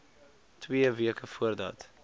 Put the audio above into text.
twee weke voordat